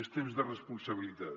és temps de responsabilitat